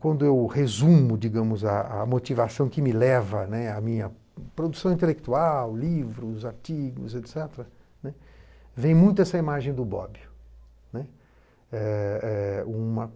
Quando eu resumo digamos a a motivação, que me leva, né, à minha produção intelectual, livros, artigos, et cetera, né, vem muito essa imagem do Bob, né. Eh eh uma